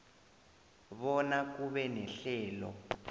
bona kube nehlelo